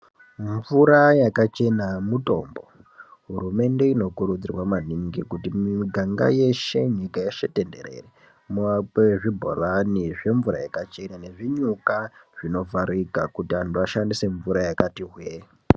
Mvura yakachena mutombo. Hurumende inokurudzirwa maningi kuti miganga, nyika yeshe tenderere muakwe zvibhorani zvemvura yakachena nezvinyuka zvinovharika kuti antu ashandise mvura yakati hwee.